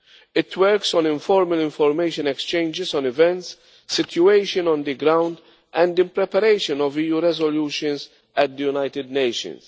It works on informal information exchanges on events and situations on the ground, and in preparation of EU resolutions at the United Nations.